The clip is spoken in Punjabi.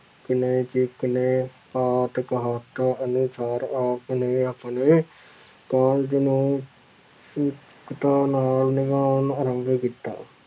ਕਿਲ੍ਹੇ ਜਿਤ ਲਏ ਅਨੁਸਾਰ ਆਪ ਨੇ ਆਪਣੇ ਕਾਰਜ ਨੂੰ ਨਾਲ ਨਹੀਂ ਦਿੱਤਾ।